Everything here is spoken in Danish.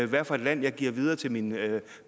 hvad for et land jeg giver videre til mine